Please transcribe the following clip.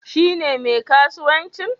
Shi ne mai kasuwancin?